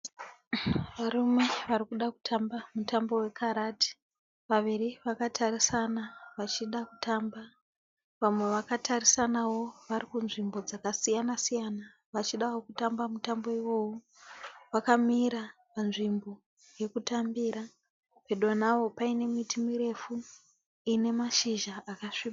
Varume vari kuda kutamba mutambo wekarate. Vaviri vakatarisana vachida kutamba. Vamwe vakatarisanawo vari kunzvimbo dzakasiyana siyana vachidawo kutamba mutambo iwowu. Vakamira pazvimbo yekutambira pedo navo paine miti ine mashizha akasvibira.